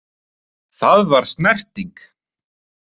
Það var snerting